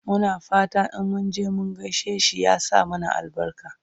Muna fatan in munje mun gaishe shi ya sa mana albarka